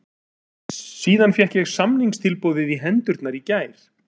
Síðan fékk ég samningstilboðið í hendurnar í gær.